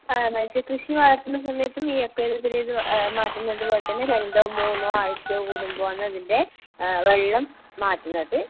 ഏഹ് മത്സ്യകൃഷി വളർത്തുന്ന സമയത്തും ഈ അക്വേറിയത്തിലേത് ഏഹ് മാറ്റുന്നതുപോലെ തന്നെ രണ്ടോ മൂന്നോ ആഴ്ച കൂടുമ്പോ ആണ് അതിൻ്റെ ഏഹ് വെള്ളം മാറ്റുന്നത്.